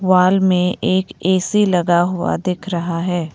Wall में एक AC लगा हुआ दिख रहा है।